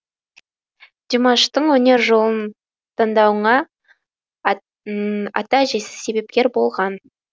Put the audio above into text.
димаштың өнер жолын таңдауыңа ата әжесі себепкер болған